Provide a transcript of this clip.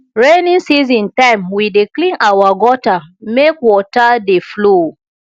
rainy season time we dey clean our gutter make water dey flow